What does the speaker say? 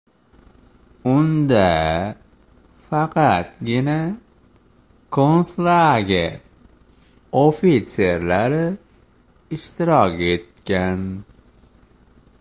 Unda faqatgina konslager ofitserlari ishtirok etgan.